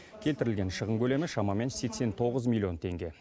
келтірілген шығын көлемі шамамен сексен тоғыз миллион теңге